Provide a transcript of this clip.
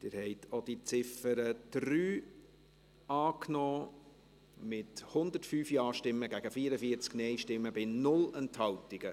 Sie haben auch die Ziffer 3 angenommen, mit 105 Ja- gegen 44 Nein-Stimmen, bei 0 Enthaltungen.